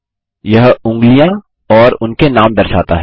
यह उँगलियाँ और उनके नाम दर्शाता है